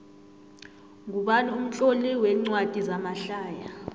ngubani umtloli wencwadi zamahlaya